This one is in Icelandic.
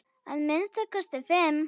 Að minnsta kosti fimm!